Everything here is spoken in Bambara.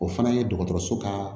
O fana ye dɔgɔtɔrɔso ka